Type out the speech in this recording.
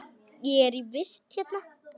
Ég er í vist hérna.